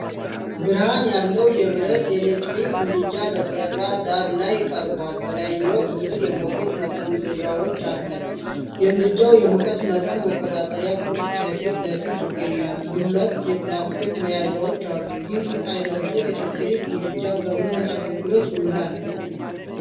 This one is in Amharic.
ብርሃን ያለው የብረት ኤሌክትሪክ ምድጃ በጠራ ዳራ ላይ ቀርቧል። በላይኛው ክፍል የሙቀት መጠምዘዣው አለ። የምድጃው የሙቀት መጠን መቆጣጠሪያ ቁልፍ ከፊት ለፊት ይገኛል፤ ሁለት የፕላስቲክ መያዣዎች አሉ። ይህ አይነቱ ኤሌክትሪክ ምድጃ በምን አገልግሎት ይውላል?